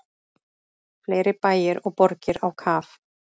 Fleiri bæir og borgir á kaf